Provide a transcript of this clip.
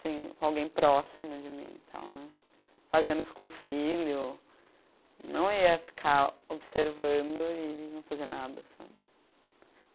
assim, com alguém próximo de mim, e tal né, fazendo isso com o filho, não ia ficar observando e não fazer nada.